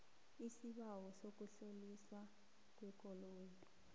isibawo sokutloliswa kwekoloyi